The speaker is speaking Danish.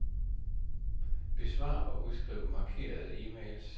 Besvar og udskriv markerede e-mails.